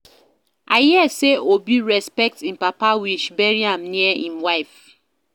I hear say Obi respect im papa wish bury am near im wife